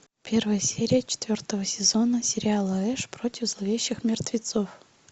первая серия четвертого сезона сериала эш против зловещих мертвецов